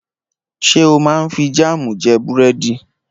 Ṣé o máa ń fi jáámù jẹ búrẹ́dì?